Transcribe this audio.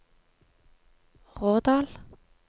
Rådal